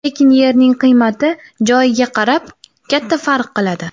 Lekin yerning qiymati joyiga qarab katta farq qiladi.